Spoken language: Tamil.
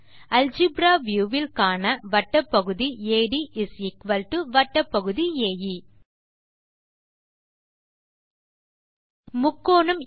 அல்ஜெப்ரா வியூ வில் காண வட்டப்பகுதி AD வட்டப்பகுதி ஏ